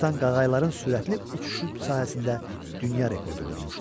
Conatan Qağayıların sürətli uçuşu sahəsində dünya rekordu vurmuşdu.